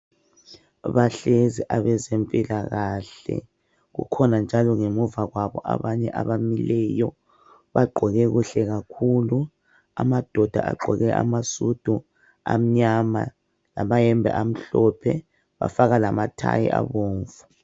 Bahlezi abezempilakahle, kukhona njalo ngemuva kwabo abanye abamileyo bagqoke kuhle kakhulu. Amadoda agqoke amasudu amnyama lamayembe amhlophe bafaka lamathayi abomvu.